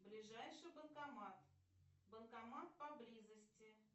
ближайший банкомат банкомат поблизости